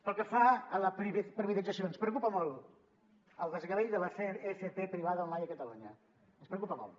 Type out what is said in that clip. pel que fa a la privatització ens preocupa molt el desgavell de l’fp privada online a catalunya ens preocupa molt